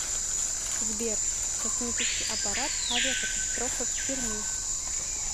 сбер космический аппарат авиакатастрофа в перми